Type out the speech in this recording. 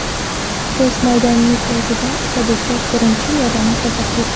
Biz maydonning o‘zida Otabekka birinchi yordamni ko‘rsatdik.